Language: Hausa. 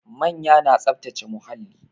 Manya na tsaftace muhalli